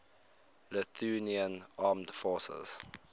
lithuanian armed forces